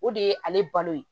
O de ye ale balo ye